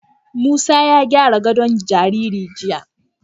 Musa ya gyara gadon jariri jiya.